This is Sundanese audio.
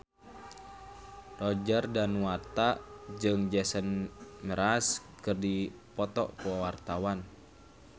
Roger Danuarta jeung Jason Mraz keur dipoto ku wartawan